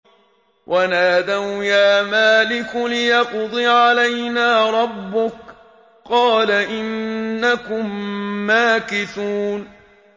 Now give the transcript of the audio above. وَنَادَوْا يَا مَالِكُ لِيَقْضِ عَلَيْنَا رَبُّكَ ۖ قَالَ إِنَّكُم مَّاكِثُونَ